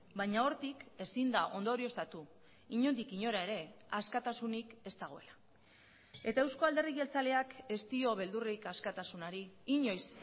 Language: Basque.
baina hortik ezin da ondorioztatu inondik inora ere askatasunik ez dagoela eta euzko alderdi jeltzaleak ez dio beldurrik askatasunari inoiz